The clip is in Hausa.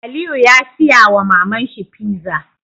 Aliyu ya siya wa maman shi pizza